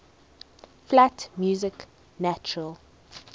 flat music natural